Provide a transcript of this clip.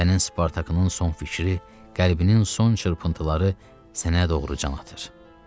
Sənin Spartakının son fikri, qəlbinin son çırpıntıları sənə doğru can atır.